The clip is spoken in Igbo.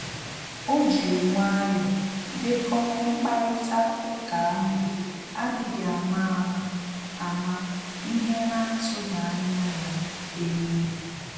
O jiri nwayọ dekọ mkparịta ụka ahụ adịghị ama ama ama ihe na-atughi anya ya eme.